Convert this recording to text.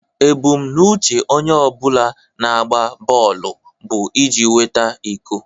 Ebumnuche onye ọ bụla na-agba bọọlụ bụ iji nweta iko